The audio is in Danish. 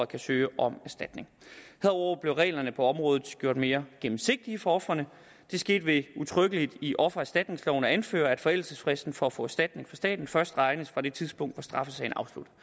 kan søge om erstatning herudover blev reglerne på området gjort mere gennemsigtige for ofrene det skete ved udtrykkeligt i offererstatningsloven at anføre at forældelsesfristen for at få erstatning fra staten først regnes fra det tidspunkt hvor straffesagen